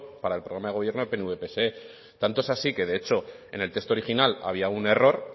para el programa de gobierno pnv pse tanto es así que de hecho en el texto original había un error